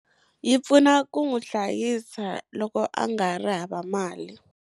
Yi pfuka ku n'wu hlayisa loko a nga ha ri hava mali.